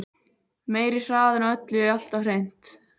Meiri hraðinn á öllu alltaf hreint.